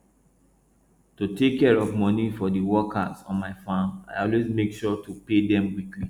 to take care of money for the workers on my farm i always make sure to pay them weekly